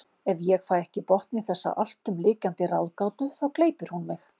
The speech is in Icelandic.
Ef ég fæ ekki botn í þessa alltumlykjandi ráðgátu þá gleypir hún mig.